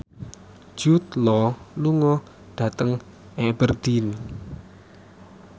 Jude Law lunga dhateng Aberdeen